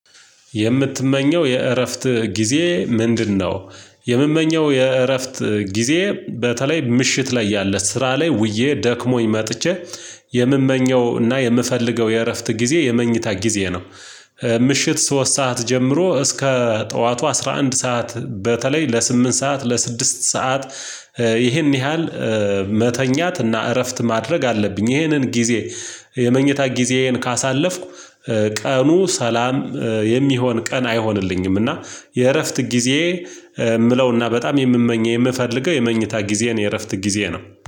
የምትመኘው የእረፍት ጊዜ ምንድነው? የምመኘው የእረፍት ጊዜ በተለይ ምሽት ላይ ያለ ስራ ላይ ውዬ ደክሞኝ መጥቼ የምመኘው እና የምፈልገው የእረፍት ጊዜ የመኝታ ጊዜ ነው። ምሽት ሶስት ሰዓት ጀምሮ እስከ ጠዋቱ አስራ አንድ ሰዓት በተለይ ለስምንት ሰዓት ለስድስት ሰዓት። ይሄን ያህል መተኛት እና እረፍት ማድረግ አለብኝ ይሄንን ጊዜ። የመኝታ ጊዜዬን ካሳለፍኩ ቀኑ ሰላም የሚሆን ቀን አይሆንልኝም። እና የእረፍት ጊዜ የምለውና በጣም የምመኘው የምፈልገው የመኝታ ጊዜን የእረፍት ጊዜ ነው